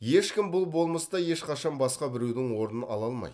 ешкім бұл болмыста ешқашан басқа біреудің орнын ала алмайды